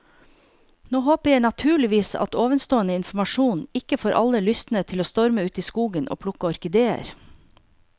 Nå håper jeg naturligvis at ovenstående informasjon ikke får alle lystne til å storme ut i skogen og plukke orkideer.